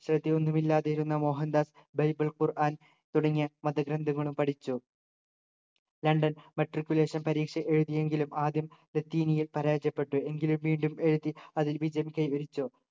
ശ്രദ്ധ ഒന്നുമില്ലാതിരുന്ന മോഹൻദാസ് ബൈബിൾ ഖുർആൻ തുടങ്ങിയ മതഗ്രന്ഥങ്ങളും പഠിച്ചു ലണ്ടൻ matriculation പരീക്ഷ എഴുതി എങ്കിലും ആദ്യം നിയിൽ പരാജയപ്പെട്ടു എങ്കിലും വീണ്ടും എഴുതി അതിൽ വിജയം കൈവരിച്ചു